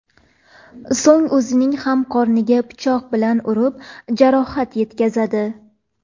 So‘ng o‘zining ham qorniga pichoq bilan urib, jarohat yetkazadi.